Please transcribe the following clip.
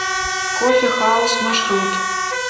кофе хауз маршрут